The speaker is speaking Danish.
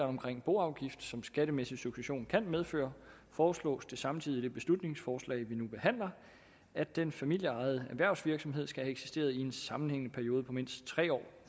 omkring boafgift som skattemæssig succession kan medføre foreslås det samtidig i det beslutningsforslag vi nu behandler at den familieejede erhvervsvirksomhed skal have eksisteret i en sammenhængende periode på mindst tre år